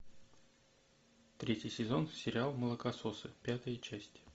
третий сезон сериал молокососы пятая часть